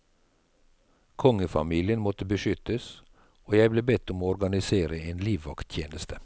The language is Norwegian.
Kongefamilien måtte beskyttes, og jeg ble bedt om å organisere en livvakttjeneste.